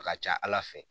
A ka ca ala fɛ